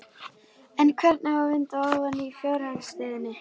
En hvernig á að vinda ofan af fjárhagsstöðunni?